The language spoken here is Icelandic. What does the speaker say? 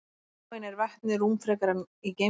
Á hinn bóginn er vetni rúmfrekara í geymslu.